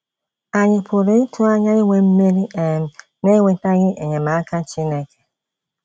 Ànyị pụrụ ịtụ anya inwe mmeri um n’enwetaghị enyemaka Chineke?